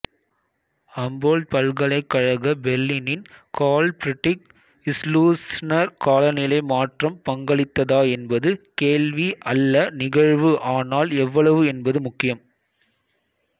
அம்போல்ட்பல்கலைக்கழக பெர்லினின் Carl Friedrich Schleussner காலநிலை மாற்றம் பங்களித்ததா என்பது கேள்வி அல்ல நிகழ்வு ஆனால் எவ்வளவு என்பது முக்கியம்